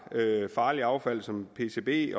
farligt affald som pcb